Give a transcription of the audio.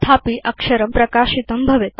तथापि अक्षरं प्रकाशितं भवेत्